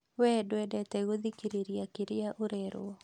Wee ndwendete gũthikĩrĩria kĩrĩa ũrerwo